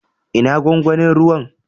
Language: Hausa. Ina gwangwanin ruwan?